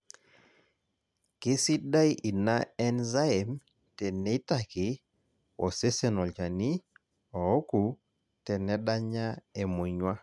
kesidai ina enzyme teneitaki osesen olchani ouku tenedanya emonyua